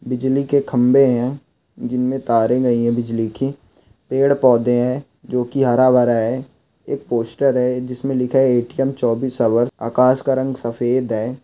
बिजली के खंबे है जिनमें तारे गए है बिजली के पेड़ पौधे है जो की हरा भरा है एक पोस्टर है जिसमें लिखा है ए.टी.एम. चौबीस आवर आकाश रंग सफ़ेद है।